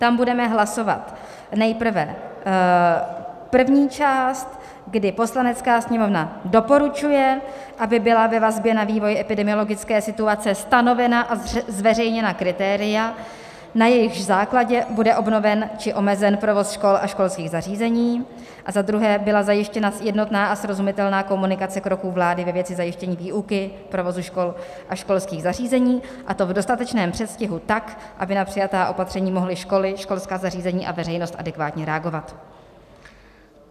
Tam budeme hlasovat nejprve první část, kdy Poslanecká sněmovna doporučuje, aby byla ve vazbě na vývoj epidemiologické situace stanovena a zveřejněna kritéria, na jejichž základě bude obnoven či omezen provoz škol a školských zařízení, a za druhé, byla zajištěna jednotná a srozumitelná komunikace kroků vlády ve věci zajištění výuky, provozu škol a školských zařízení, a to v dostatečném předstihu tak, aby na přijatá opatření mohly školy, školská zařízení a veřejnost adekvátně reagovat.